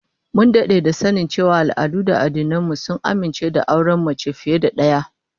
Mun dade da sanin cewa al'adu da addinan mu sun amince da auren mace fiye da daya